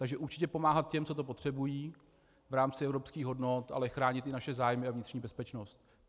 Takže určitě pomáhat těm, co to potřebují v rámci evropských hodnot, ale chránit i naše zájmy a vnitřní bezpečnost.